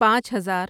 پانچ ہزار